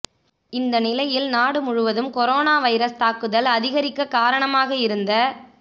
இந்த நிலையில் நாடு முழுவதும் கொரோனா வைரஸ் தாக்குதல் அதிகரிக்க காரணமாக இருந்த